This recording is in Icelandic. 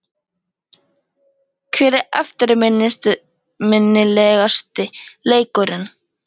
Hver er eftirminnilegasti leikurinn?